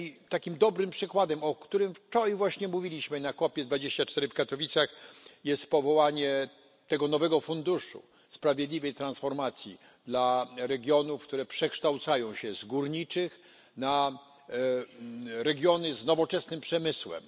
Takim dobrym przykładem, o którym wczoraj właśnie mówiliśmy na COP24 w Katowicach, jest powołanie tego nowego funduszu sprawiedliwej transformacji dla regionów, które przekształcają się z górniczych na regiony z nowoczesnym przemysłem.